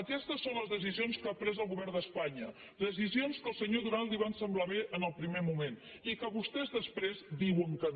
aquestes són les decisions que ha pres el govern d’espanya decisions que al senyor duran li van semblar bé en el primer moment i a què vostès després diuen que no